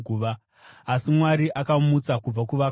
Asi Mwari akamumutsa kubva kuvakafa,